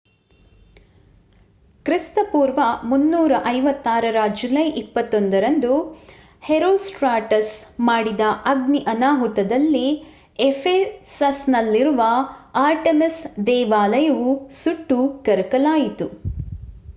ಕ್ರಿ.ಪೂ. 356 ರ ಜುಲೈ 21 ರಂದು ಹೆರೋಸ್ಟ್ರಾಟಸ್ ಮಾಡಿದ ಅಗ್ನಿ ಅನಾಹುತದಲ್ಲಿ ಎಫೆಸಸ್‌ನಲ್ಲಿರುವ ಆರ್ಟೆಮಿಸ್ ದೇವಾಲಯವು ಸುಟ್ಟು ಕರಕಲಾಯಿತು